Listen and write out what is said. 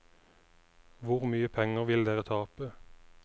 Hvor mye penger vil dere tape?